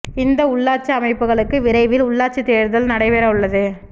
இந்த உள்ளாட்சி அமைப்புகளுக்கு விரைவில் உள்ளாட்சி தோ்தல் நடைபெற உள்ளது